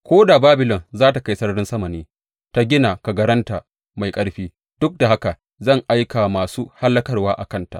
Ko da Babilon za tă kai sararin sama ne, ta gina kagaranta mai ƙarfi, duk da haka zan aiki masu hallakarwa a kanta,